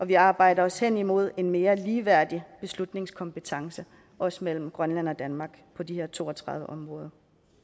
vi arbejder os hen imod en mere ligeværdig beslutningskompetence også mellem grønland og danmark på de her to og tredive områder